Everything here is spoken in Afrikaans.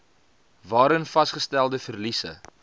waarin vasgestelde verliese